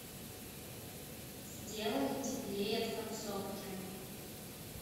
сделай теплее в подсобке